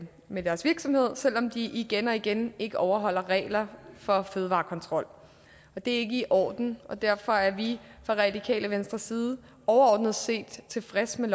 med deres virksomhed selv om de igen og igen ikke overholder regler for fødevarekontrol og det er ikke i orden derfor er vi fra radikale venstres side overordnet set tilfredse med